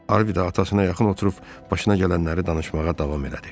Harvi də atasına yaxın oturub başına gələnləri danışmağa davam elədi.